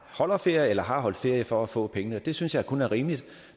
holder ferie eller har holdt ferie for at få pengene det synes jeg kun er rimeligt